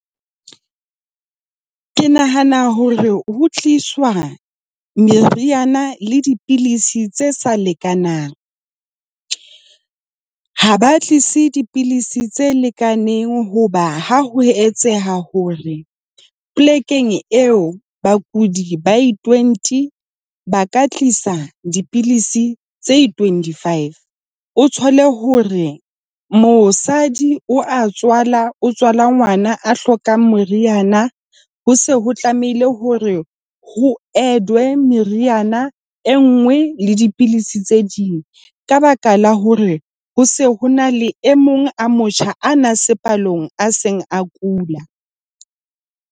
Ke nahana hore ho tliswa meriana le dipidisi tse sa lekanang. Ha ba tlise dipidisi tse lekaneng hoba ha ho etseha hore polekeng eo bakudi ba i-twenty, ba ka tlisa dipidisi tse twenty five. O thole hore mosadi o a tswala, o tswala ngwana a hlokang moriana. Ho se ho tlamehile hore ho edwe meriana e nngwe le dipidisi tse ding ka baka la hore ho se ho na le e mong a motjha a na se palong a seng a kula.